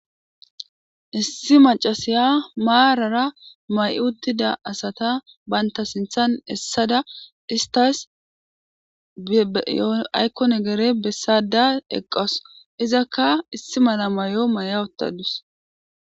issi macasiya maarara may uttida asata banta sinthan hessada istas yaykkonegere bessada eqqas izakka issi mala may7o may7a ottadus